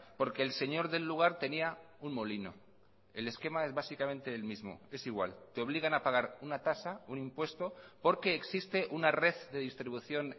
porque el señor del lugar tenía un molino el esquema es básicamente el mismo es igual te obligan a pagar una tasa un impuesto porque existe una red de distribución